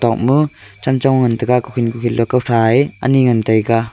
ton ma chechong ngan taiga kuhen kuhen lakan sa aa aney ngan taiga.